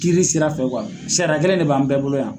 Kiiri sira fɛ kuwa siriya kelen de b'an bɛɛ bolo yan